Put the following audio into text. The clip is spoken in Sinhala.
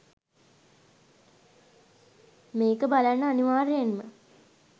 මේක බලන්න අනිවාර්යයෙන්ම